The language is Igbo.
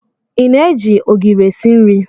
Ị na-eji ogiri esi nri?